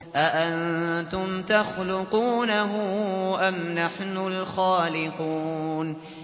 أَأَنتُمْ تَخْلُقُونَهُ أَمْ نَحْنُ الْخَالِقُونَ